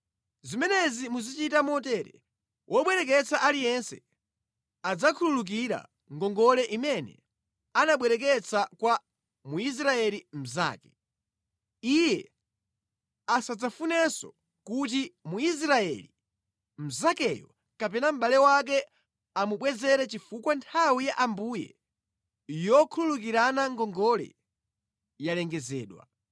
Zimenezi muzichita motere: wobwereketsa aliyense adzakhululukira ngongole imene anabwereketsa kwa Mwisraeli mnzake. Iye asadzafunenso kuti Mwisraeli mnzakeyo kapena mʼbale wake amubwezere chifukwa nthawi ya Ambuye yokhululukirana ngongole yalengezedwa.